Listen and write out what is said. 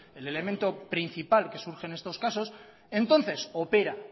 el elemento principal que surge en estos casos entonces opera